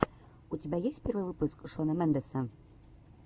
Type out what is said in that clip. у тебя есть первый выпуск шона мендеса